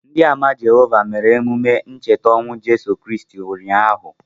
Ndị Àmà Jehovah mere emume ncheta ọnwụ Jizọs Kraịst ụnyaahụ.